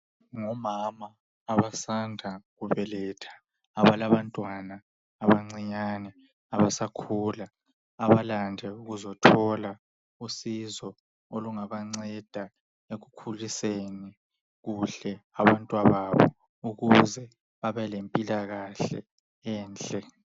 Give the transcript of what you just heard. Ngomama abasanda kubeletha. abalabantwana abancinyane abasakhula abalande ukuzothola usizo olunganceda ekukhuliseni kuhle abantwa babo ukuze babelempilakahle enhle.